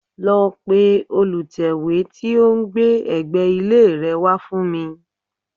Lọ pe olùtẹ́wé tí ó ń gbé ẹ̀gbẹ́ ilé rẹ wá fún mi